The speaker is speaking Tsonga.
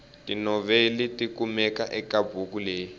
tinoveli tikumeka ekabhuku leyi